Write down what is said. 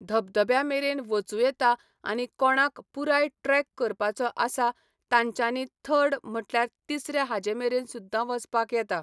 धबधब्या मेरेन वचूं येता आनी कोणाक पुराय ट्रेक करपाचो आसा तांच्यानी थर्ड म्हटल्यार तिसरे हाजे मेरेन सुद्दां वचपाक येता